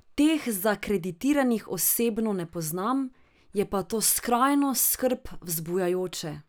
Teh zakreditiranih osebno ne poznam, je pa to skrajno skrb vzbujajoče.